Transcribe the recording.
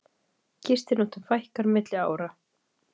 Gistinóttum fækkar milli ára